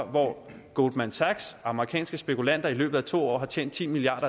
hvor goldman sachs amerikanske spekulanter i løbet af to år har tjent ti milliard